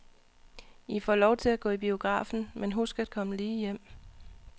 I får lov til at gå i biografen, men husk at komme lige hjem.